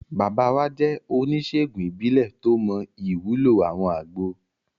Bàbá wa jẹ́ oníṣèègùn ìbílẹ̀ tó mọ ìwúlò àwọn àgbo